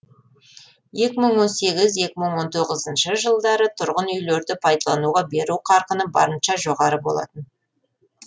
екі мың он сегіз екі мың он тоғызыншы жылдары тұрғын үйлерді пайдалануға беру қарқыны барынша жоғары болатын